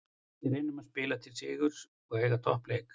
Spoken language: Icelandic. Við reynum að spila til sigurs og eiga toppleik.